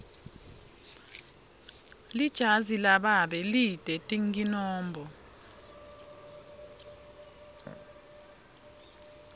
lijazi lababe lite tinkinombo